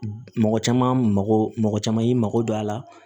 Mɔgɔ caman mago caman y'i mago don a la